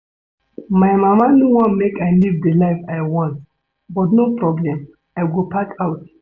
My mama no wan make I live the life I want but no problem I go pack out